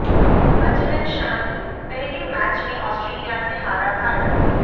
Azlan Shah के पहले match में ऑस्ट्रेलिया से हारा भारत